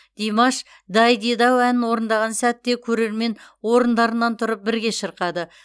димаш дайдидау әнін орындаған сәтте көрермен орындарынан тұрып бірге шырқады